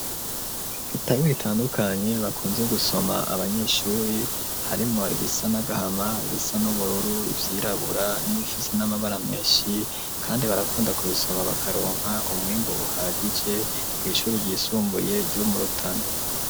Ibitabo bitandukanye, bakunze gusoma abanyeshuri, harimwo ibisa n'agahama, ibisa n'ubururu, ivyirabura n'ibifise n'amabara menshi; kandi barakunda kubisoma bakaronka umwimbu uhagije, kw'ishuri ryisumbuye ryo mu Rutana.